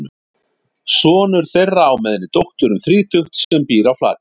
Sonur þeirra á með henni dóttur um þrítugt sem býr á Flateyri.